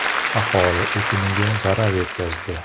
Aholi ekiniga zarar yetkazdi.